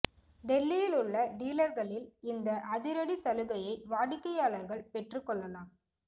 டெல்லியில் உள்ள டீலர்களில் இந்த அதிரடி சலுகையை வாடிக்கையாளர்கள் பெற்றுக் கொள்ளலாம